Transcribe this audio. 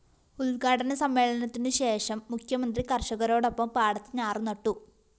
ഉദ്ഘാടന സമ്മേളനത്തിനുശേഷം മുഖ്യമന്ത്രി കര്‍ഷകരോടൊപ്പം പാടത്ത് ഞാറു നട്ടു